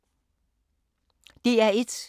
DR1